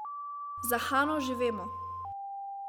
Za Hano že vemo.